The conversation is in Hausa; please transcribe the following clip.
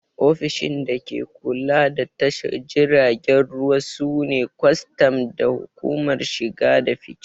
Ofishishin da ke kula da tashar jiragen ruwa su ne kwastam da hukumar shige da fice